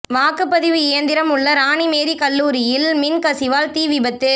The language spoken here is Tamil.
வாக்குப்பதிவு இயந்திரம் உள்ள ராணிமேரி கல்லூரியில் மின் கசிவால் தீ விபத்து